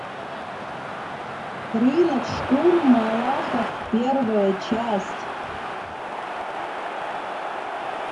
рынок шкур малахов первая часть